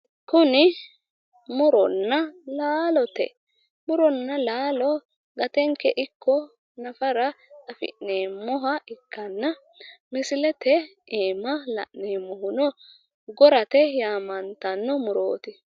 Kuni mu'ronna laalote. Mu'ronna laalo gatenke ikko nafara afi'neemmoha ikkanna misilete aana la'neemmohuno gorate yinanni murooti.